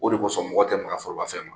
O de kosɔn mɔgɔ tɛ Maka forobafɛn ma.